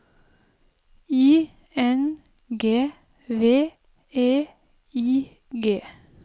I N G V E I G